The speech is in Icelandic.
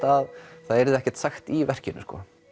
að það yrði ekkert sagt í verkinu